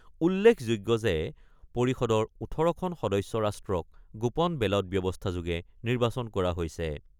উল্লেখযোগ্য যে পৰিষদৰ ১৮খন সদস্য ৰাষ্ট্ৰক গোপন বেলট ব্যৱস্থাযোগে নিৰ্বাচন কৰা হৈছে।